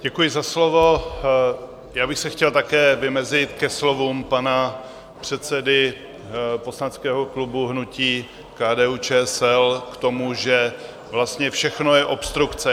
Děkuji za slovo, já bych se chtěl také vymezit ke slovům pana předsedy poslaneckého klubu hnutí KDU-ČSL k tomu, že vlastně všechno je obstrukce.